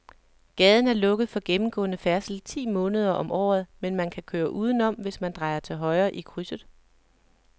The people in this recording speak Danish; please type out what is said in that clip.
Gaden er lukket for gennemgående færdsel ti måneder om året, men man kan køre udenom, hvis man drejer til højre i krydset.